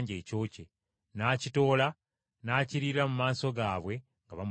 n’akitoola n’akiriira mu maaso gaabwe nga bamutunuulira!